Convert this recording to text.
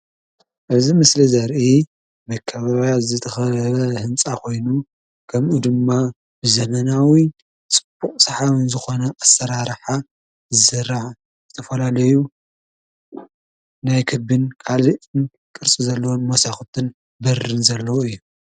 እዚ ምስሊ ዘርኢ መካበብያ ዝተካበበ ህንፃ ኮይኑ ከምኡ ድማ ዘመናዊ ፅቡቕ ሰሓብን ዝኮነ ኣሰራርሓ ዝስራሕ ዝተፈላለዩ ናይ ክብን ካልኦት ቅረፂ ዘለዎም መሳኩትን በርን ዘለዎ እዩ።